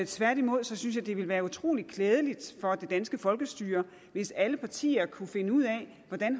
tværtimod synes jeg det ville være utrolig klædeligt for det danske folkestyre hvis alle partier kunne finde ud af hvordan